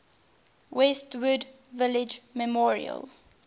westwood village memorial